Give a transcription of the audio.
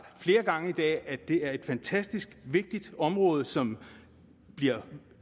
flere gange i dag at det er et fantastisk vigtigt område som bliver